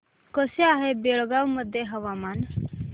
कसे आहे बेळगाव मध्ये हवामान